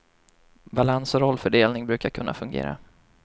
Balans och rollfördelning brukar kunna fungera.